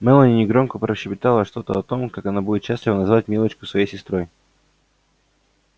мелани негромко прощебетала что-то о том как она будет счастлива назвать милочку своей сестрой